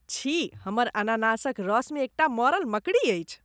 छी! हमर अनानासक रसमे एकटा मरल मकड़ी अछि।